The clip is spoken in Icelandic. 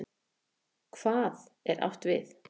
HVAÐ er átt við?